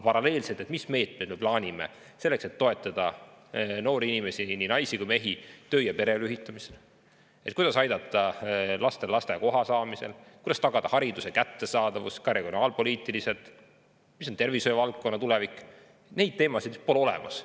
Aga mis meetmeid me plaanime selleks, et toetada noori inimesi, nii naisi kui mehi, töö- ja pereelu ühitamisel, kuidas aidata lastel lasteaiakohta saada, kuidas tagada hariduse kättesaadavus ka regionaalpoliitiliselt, milline on tervishoiu tulevik – neid teemasid pole olemas.